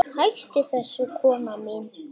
Hættu þessu kona!